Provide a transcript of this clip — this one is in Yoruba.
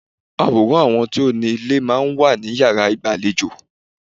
Àwòrán àwọn tó ni ilé máa ń wà ní yàrá ìgbàlejò.